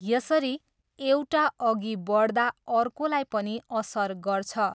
यसरी, एउटा अघि बढ्दा अर्कोलाई पनि असर गर्छ।